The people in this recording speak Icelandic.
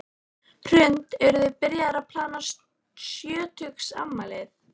Hrund: Eruð þið byrjaðar að plana sjötugsafmælið?